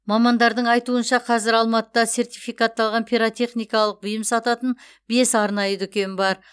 мамандардың айтуынша қазір алматыда сертификатталған пиротехникалық бұйым сататын бес арнайы дүкен бар